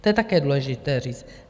To je také důležité říct.